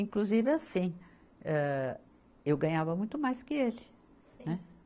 Inclusive, assim, âh, eu ganhava muito mais que ele, né. Sim